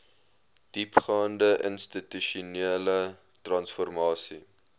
diepgaande institusionele transformasie